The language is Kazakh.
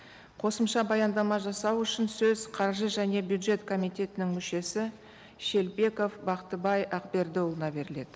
қосымша баяндама жасау үшін сөз қаржы және бюджет комитетінің мүшесі шелпеков бақтыбай ақбердіұлына беріледі